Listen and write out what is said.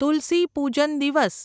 તુલસી પૂજન દિવસ